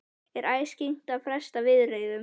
Er æskilegt að fresta viðræðum?